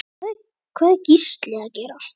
Hvað er Gísli að gera?